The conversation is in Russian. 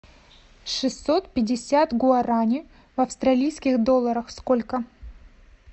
шестьсот пятьдесят гуараней в австралийских долларах сколько